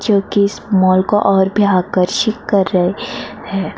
जो कि इस मॉल को और भी आकर्षित कर रहे हैं ।